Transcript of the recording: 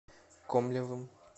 комлевым